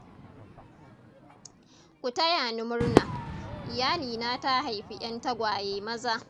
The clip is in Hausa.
Ku taya ni murna. Iyalina ta haifi 'yan tagwaye maza.